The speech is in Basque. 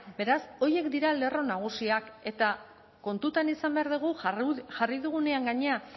beraz horiek dira lerro nagusiak eta kontutan izan behar dugu jarri dugunean gainera